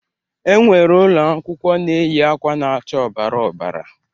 E nwere ụlọ akwụkwọ na-eyi akwa na-acha ọbara ọbara.